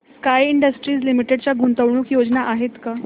sky Industries Limited च्या गुंतवणूक योजना आहेत का